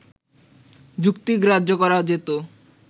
যুক্তিগ্রাহ্য করা যেত